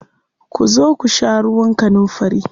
Ku zo ku sha ruwan kanunfari.